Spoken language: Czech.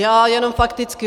Já jenom fakticky.